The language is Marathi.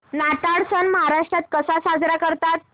नाताळ सण महाराष्ट्रात कसा साजरा करतात